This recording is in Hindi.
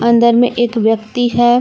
अंदर में एक व्यक्ति है।